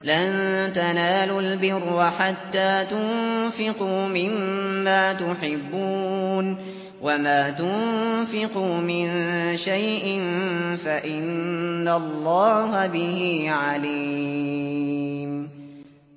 لَن تَنَالُوا الْبِرَّ حَتَّىٰ تُنفِقُوا مِمَّا تُحِبُّونَ ۚ وَمَا تُنفِقُوا مِن شَيْءٍ فَإِنَّ اللَّهَ بِهِ عَلِيمٌ